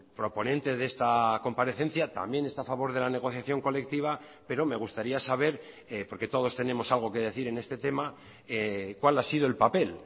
proponente de esta comparecencia también está a favor de la negociación colectiva pero me gustaría saber porque todos tenemos algo que decir en este tema cuál ha sido el papel